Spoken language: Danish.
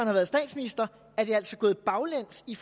har været statsminister er det altså gået baglæns i